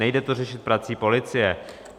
Nejde to řešit prací policie.